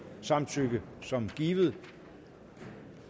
samtykke som givet